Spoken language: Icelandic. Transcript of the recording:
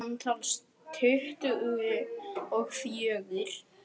Samtals tuttugu og fjögur.